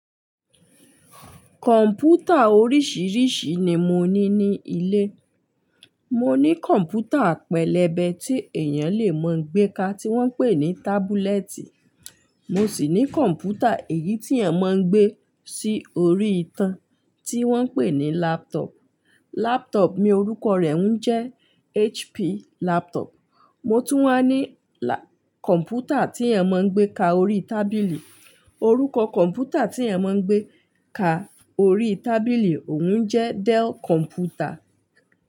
Kọ̀m̀pútà oríṣiríṣi ni mo ní ní ilé. Mo ní kọ̀m̀pútà pẹ̀lẹ́bẹ́ tí ènìyàn lè máa ń gbé ka, tí wọ́n pè ní tábúlẹ́ẹ̀tì. Mo sì ní kọ̀m̀pútà èyí tí ènìyàn máa ń gbé sí orí itan, tí wọ́n pè ní láptop. Lápọ́ọ̀pù mí, orúkọ rẹ̀ ń jẹ́ HP láptop. Mo tún wá ní kọ̀m̀pútà tí ènìyàn máa ń gbé ka orí tábìlì. Orúkọ kọ̀m̀pútà tí ènìyàn máa ń gbé ka orí tábìlì, òun jẹ́ Dell kọ̀m̀pútà.